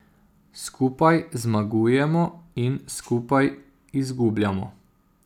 Skupaj zmagujemo in skupaj izgubljamo.